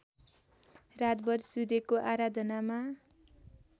रातभर सूर्यको आराधनामा